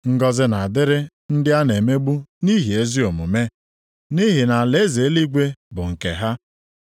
Ngọzị na-adịrị ndị a na-emegbu nʼihi ezi omume, nʼihi na alaeze eluigwe bụ nke ha.